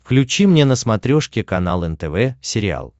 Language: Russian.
включи мне на смотрешке канал нтв сериал